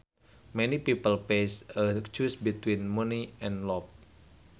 Many people face a choice between money and love